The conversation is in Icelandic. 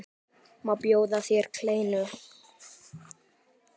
Má bjóða þér kleinu?